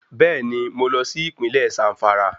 Bẹ́ẹ̀ni mo lọ sí Ìpínlẹ̀ Zàmfàrà